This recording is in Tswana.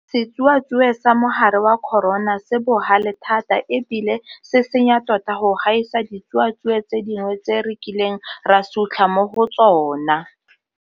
Setsuatsue sa mogare wa corona se bogale thata e bile se senya tota go gaisa ditsuatsue tse dingwe tse re kileng ra sutlha mo go tsona.